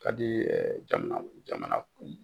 Ka di jamana kun